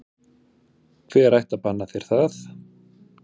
Hver ætti að banna þér það?